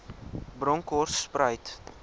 bronkhortspruit